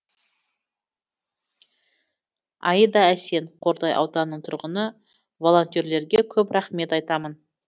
аида әсен қордай ауданының тұрғыны волонтерлерге көп рахмет айтамын